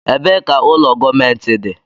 Ebee ka ụlọ gọọmentị dị?